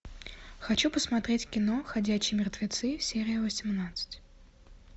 хочу посмотреть кино ходячие мертвецы серия восемнадцать